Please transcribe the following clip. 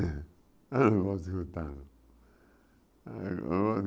Eu não gosto de contar não. Ah o